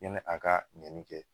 Yanni a ka ɲɛni kɛ